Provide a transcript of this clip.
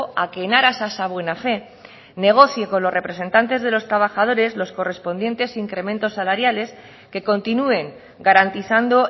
a que en aras a esa buena fe negocie con los representantes de los trabajadores los correspondientes incrementos salariales que continúen garantizando